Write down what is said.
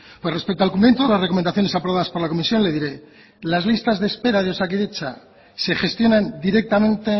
pues respecto al cumplimiento de las recomendaciones aprobadas por la comisión le diré que las listas de espera de osakidetza se gestionan directamente